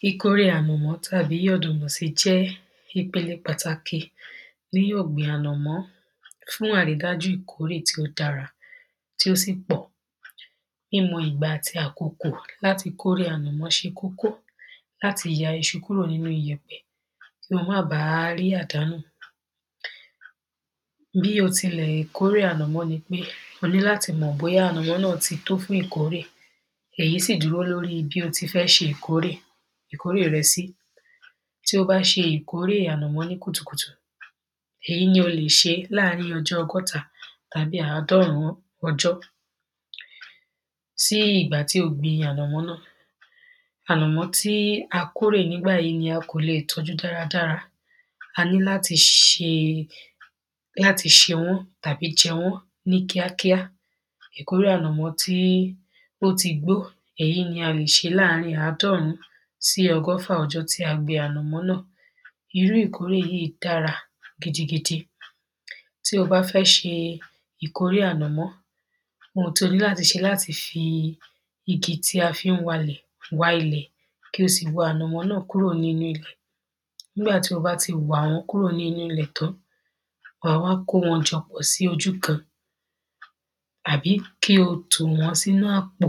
Kíkórè ànàmọ́ tàbí ọ̀dùnmú sī jẹ́ ìpēlē pàtàkì ní ọ̀gbìn ànàmọ́ fún àrídájú ìkórè tí ó dárā tí ó sì pọ̀. Mímọ̀ ìgbà àtī àkokò látī kórè ànàmọ́ ṣē kókó látī yā īṣū kúrò nínú iyẹ̀pẹ̀ kíyàn má bā à á rí àdánù. Bí ō tīlẹ̀ kórè ànàmọ́ nī pé ō ní látī mọ̀ bóyá ànàmọ́ náà tī tó fún ìkórè èyí sí dúró lórí bí ō tī fẹ́ ṣē ìkórè ìkórè rẹ̄ sí. Tí ō bá ṣē ìkórè ànàmọ́ ní kùtù kùtù èyí nī ō lè ṣē láàárīn ọ̄jọ́ ọ̄gọ́tā tàbí àádọ́rùn ọ̄jọ́ sí ìgbà tí ō gbīn ànàmọ́ náà. Ànàmọ́ tí ā kórè nígbàyí nī ā kō lē è tọ́jú dárā dárā ā ní látī ṣē látī ṣē wọ́n tàbí jẹ̄ wọ́n ní kíákíá. Ìkórè ànàmọ́ tí ó tī gbó èyí nī ā lè ṣē láàrīn àádọ́rùn sí ọ̄gọ́fà ọ̄jọ́ tí ā gbīn ànàmọ́ náà īrú ìkórè yíì dárā gīdī gīdī tí ō bá fẹ́ ṣē ìkórè ànàmọ́ ōhūn tí ō ní látī ṣē látī fī īgī tí ā fī ń wā īlẹ̀ wā īlẹ̀ kí ō sì wā ànàmọ́ náà kúrò nínú īlẹ̀. Nígbà tí ō bá tī wà wọ́n kúrò nínú īlẹ̀ tán wàá á wá kó wọ̄n pāpọ̀ sí ōjú kān àbí kí ō tò wọ́n sínú àpò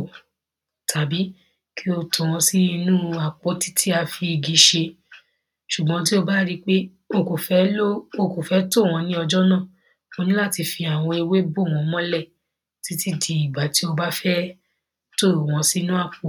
tàbí kí ō tò wọ́n sí inú u àpòtí tí ā fī īgī ṣē. Ṣùgbọ́n tí ō bá rí pé ō kò fẹ́ ló ō kò fẹ́ tò wọ́n ní ọ̄jọ́ náà ó ní látī fī àwọ̄n ēwé bò wọ́n mọ́lẹ̀ títí dī ìgbà tí ō bá fẹ́ tò wọ́n sínú àpò.